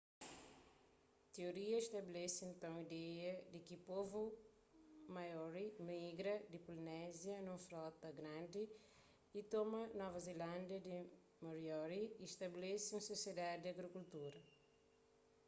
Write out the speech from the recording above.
tioria stabelese nton ideia di ki povu maori migra di polinézia nun frota grandi y toma nova zelándia di moriori y stabelese un sosiedadi di agrikultura